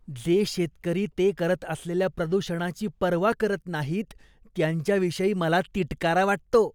जे शेतकरी ते करत असलेल्या प्रदूषणाची पर्वा करत नाहीत, त्यांच्याविषयी मला तिटकारा वाटतो.